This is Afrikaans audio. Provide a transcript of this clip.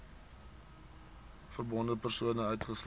verbonde persone uitgesluit